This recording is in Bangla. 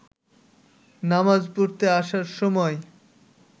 নামাজ পড়তে আসার সময়